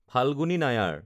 Falguni Nair